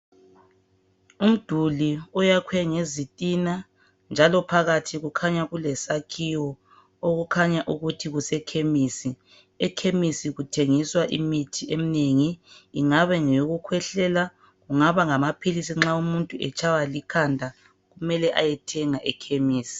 Umduli oyakhwe ngezitina njalo phakathi kulesakhiwo esiyikhemisi. Ekhemisi kuthengiswa imithi eminengi ingaba ngeyokukhwehlela kumbe amaphilisi nxa umuntu etshaywa likhanda mele ayethenga ekhemisi.